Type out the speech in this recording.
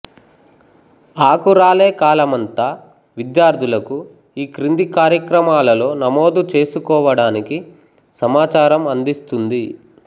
ఆకురాలే కాలమంతా విద్యార్థులకు ఈ క్రింది కార్యక్రమాలలో నమోదు చేసుకోవడానికి సమాచారం అందిస్తుంది